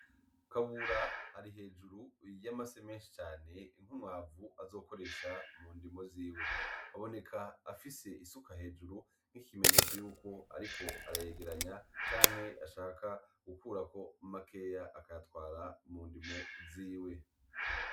Kabura ari hejuru y'amase menshi cane nk'umwavu azokoresha mu ndimwo ziwe, aboneka afise isuka hejuru nk'ikimenyetso yuko ariko arayegeranya canke ashaka gukurako makeya akayatwara mu ndimo ziwe.